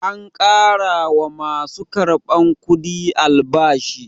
An ƙara wa ma su karɓar kudi albashi.